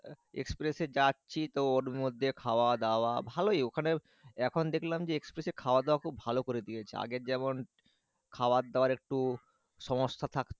এক্সপ্রেসের যাচ্ছি তো ওর মধ্যে খাওয়া দাওয়া ভালোই ওখানে এখন দেখলাম যে এক্সপ্রেসে খাওয়া দাওয়া খুব ভালো করে দিয়েছে আগের যেমন খাওয়ার দাওয়ার একটু সমস্যা থাকতো।